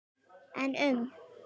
En um?